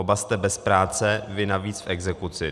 Oba jste bez práce, vy navíc v exekuci.